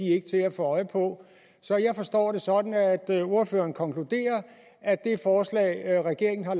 er til at få øje på så jeg forstår det sådan at ordføreren konkluderer at det forslag regeringen har